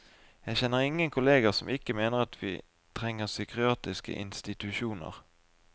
Jeg kjenner ingen kolleger som ikke mener at vi trenger psykiatriske institusjoner.